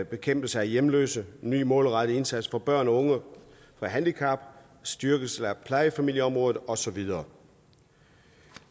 bekæmpelse af hjemløshed en ny og målrettet indsats for børn og unge med handicap styrkelse af plejefamilieområdet og så videre